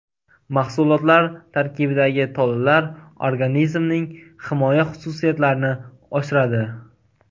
Mahsulotlar tarkibidagi tolalar organizmning himoya xususiyatlarini oshiradi.